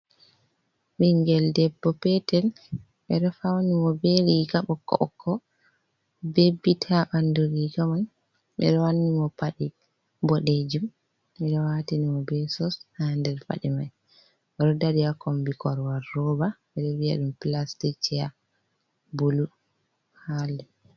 Ɓingel debbo petel ɓeɗo fauni mo ɓe riga ɓokko-ɓokko be bit ha ɓandu riga mai. Ɓeɗo wanni mo paɗe boɗejum, ɓeɗo watini mo be soks ha nder paɗe mai. Oɗo dari a kombi korowal roba ɓeɗo viyaɗum pilastik chair bulu ha les...